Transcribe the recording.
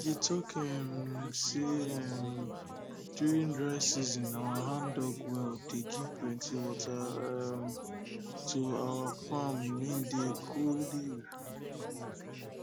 dey talk um say um during dry season our handdug well dey give plenty water um to our farm wey dey grow leaf